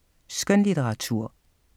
Skønlitteratur